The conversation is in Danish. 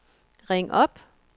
ring op